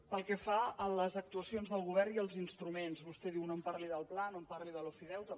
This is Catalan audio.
pel que fa a les actuacions del govern i als instruments vostè em diu no em parli del pla no em parli de l’ofideute